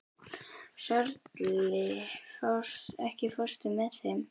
Sörli, ekki fórstu með þeim?